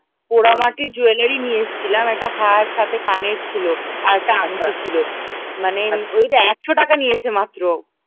পোড়ামাটি jewellery নিয়ে এসেছিলাম একটা হার সাথে কানের ছিল আর একটা আংটি ও ছিল মানে ওই একশো টাকা নিয়েছে মাত্র